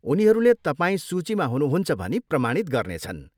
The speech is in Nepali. उनीहरूले तपाईँ सूचीमा हुनुहुन्छ भनी प्रमाणित गर्नेछन्।